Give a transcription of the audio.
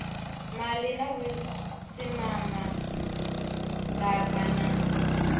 maḓi na vhusimama ḓaka na